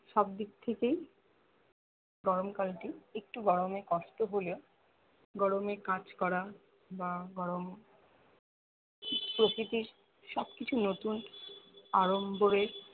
সব দিক থেকেই গরমকাল টি একটু গরমে কষ্ট হলেও গরমে কাজ করা বা গরম প্রকৃতির সব কিছু নতুন আরম্ভরে